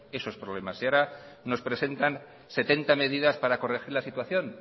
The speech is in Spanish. esos problemas y ahora nos presentan setenta medidas para corregir la situación